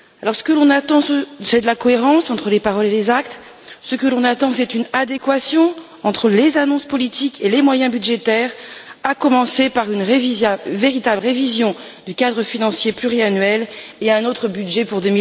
Ce que l'on attend, c'est de la cohérence entre les paroles et les actes, ce que l'on attend, c'est une adéquation entre les annonces politiques et les moyens budgétaires, à commencer par une véritable révision du cadre financier pluriannuel et un autre budget pour